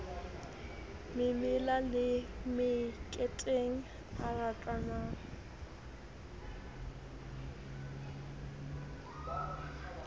memela le meketeng o ratana